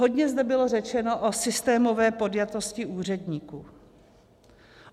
Hodně zde bylo řečeno o systémové podjatosti úředníků.